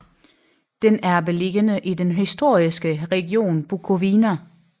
Den er beliggende i den historiske region Bukovina